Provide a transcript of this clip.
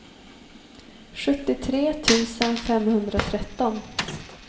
sjuttiotre tusen femhundratretton